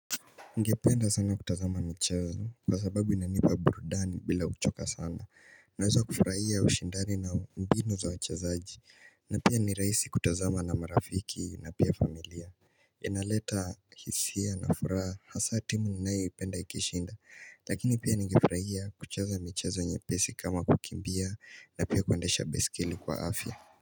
Ningependa sana kutazama michezo kwa sababu inanipa burudani bila kuchoka sana naweza kufurahia ushindani na mbinu za wachezaji na pia ni raisi kutazama na marafiki na pia familia inaleta hisia na furaha na hasa timu ninayo ipenda ikishinda lakini pia ningefurahia kucheza michezo nye pesi kama kukimbia na pia kuendesha baiskeli kwa afya.